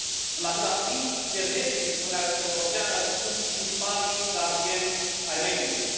În același timp, fermierii din Uniunea Europeană sunt principalii gardieni ai mediului.